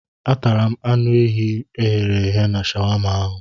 Atara m anụ ehi e ghere eghe na shawama ahụ.